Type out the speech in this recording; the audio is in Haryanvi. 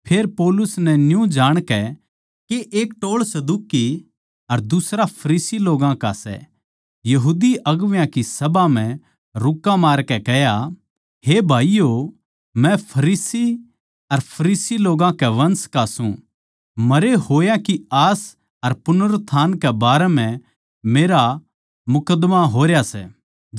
फेर पौलुस नै न्यू जाणकै के एक टोळ सदूकी अर दुसरा फरीसी लोग्गां का सै सभा म्ह रुक्का मारकै कह्या हे भाईयो मै फरीसी अर फरीसी लोग्गां के वंश का सूं मरे होया की आस अर पुनरुत्थान कै बारै म्ह मेरा मुकद्दमा होरया सै